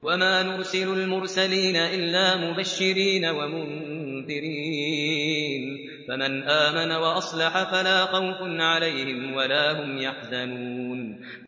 وَمَا نُرْسِلُ الْمُرْسَلِينَ إِلَّا مُبَشِّرِينَ وَمُنذِرِينَ ۖ فَمَنْ آمَنَ وَأَصْلَحَ فَلَا خَوْفٌ عَلَيْهِمْ وَلَا هُمْ يَحْزَنُونَ